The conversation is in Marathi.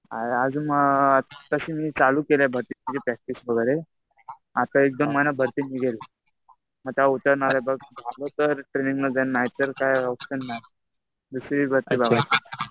अजून तशी मी चालू केलंय भरतीची प्रॅक्टिस वगैरे. आता एक-दोन महिन्यात भरती निघेल.आता उतरणार आहे बघ. झालं तर ट्रेनिंग मध्ये जाईल नाहीतर काही ऑप्शन नाही. दुसरी भरती बघा.